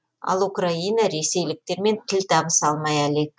ал украина ресейліктермен тіл табыса алмай әлек